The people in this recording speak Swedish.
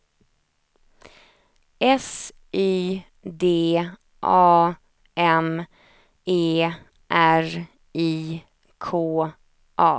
S Y D A M E R I K A